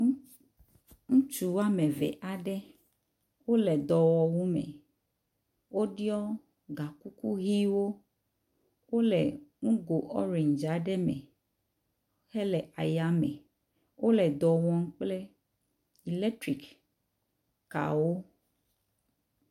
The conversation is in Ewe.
Ŋutsu woame ve wole dɔwɔwu me, woɖɔ gakuku ʋɛ̃wo, wole nugo ɔrendzi aɖe me hele ayame. Wole dɔ wɔm kple iletrik kawo.